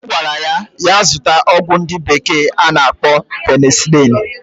Ogwara ya ya zuta ogwu ndi bekee na-akpo penicilin.